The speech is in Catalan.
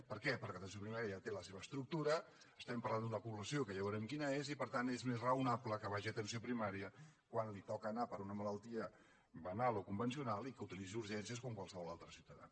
per què perquè atenció primària ja té la seva estructura estem parlant d’una població que ja veurem quina és i per tant és més raonable que vagi a atenció primària quan li toca anar hi per una malaltia banal o convencional i que utilitzi urgències com qualsevol altre ciutadà